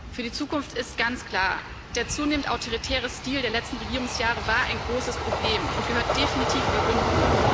Für die Zukunft ist ganz klar Der zunehmend autoritäre Stil der letzten Regierungsjahre war ein großes Problem und gehört definitiv überwunden.